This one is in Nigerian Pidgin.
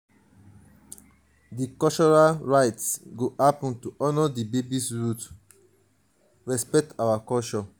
di cultural rites go happen to honor di baby's roots di baby's roots respect our um culture.